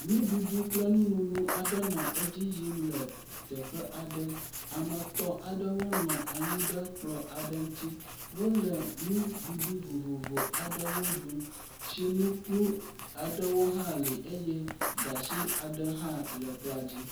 Nuɖuɖu kple nununu nɔ edzi yim le teƒe aɖe, ame etɔ̃ aɖewo nɔ anyi ɖe kplɔ aɖe ŋuti, wole nuɖuɖu vovovo aɖewo ɖum, tsinukplu aɖewo hã le eye gatsi aɖe hã le kplɔa dzi.